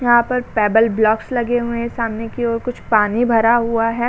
यहाँ पर pebble blocks लगे हुए हैं। सामने की ओर कुछ पानी भरा हुआ है।